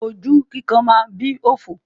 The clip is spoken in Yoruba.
Hastes makes wastes.